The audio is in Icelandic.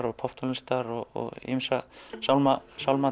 og popptónlistar og ýmsar